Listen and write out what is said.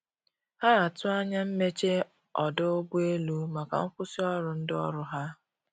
Ha atụ anya mmeche ọdụ ụgbọ elụ maka nkwụsi ọrụ ndi ọrụ ha